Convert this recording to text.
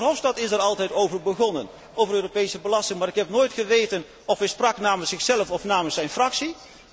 De heer Verhofstadt is er altijd over begonnen, over Europese belasting, maar ik heb nooit geweten of hij sprak namens zichzelf of namens zijn fractie.